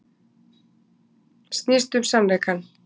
Snýst um sannleikann